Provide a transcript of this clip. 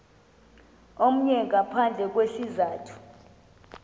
omnye ngaphandle kwesizathu